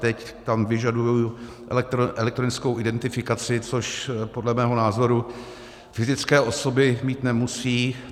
Teď tam vyžadují elektronickou identifikaci, což podle mého názoru fyzické osoby mít nemusí.